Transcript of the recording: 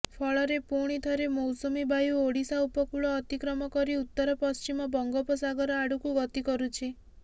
ଫଳରେ ପୁଣି ଥରେ ମୌସୁମୀ ବାୟୁ ଓଡ଼ିଶା ଉପକୂଳ ଅତିକ୍ରମ କରି ଉତ୍ତର ପଶ୍ଚିମ ବଙ୍ଗୋପସାଗର ଆଡ଼କୁ ଗତିକରୁଛି